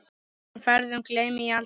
Þessum ferðum gleymi ég aldrei.